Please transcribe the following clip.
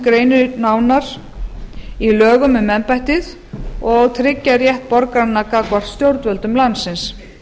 nánar greinir í lögum um embættið og tryggja rétt borgaranna gagnvart stjórnvöldum landsins